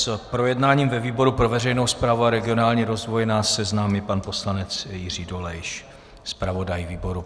S projednáním ve výboru pro veřejnou správu a regionální rozvoj nás seznámí pan poslanec Jiří Dolejš, zpravodaj výboru.